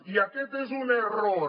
i aquest és un error